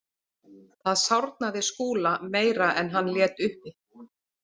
Það sárnaði Skúla meira en hann lét uppi.